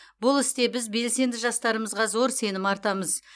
бұл істе біз белсенді жастарымызға зор сенім артамыз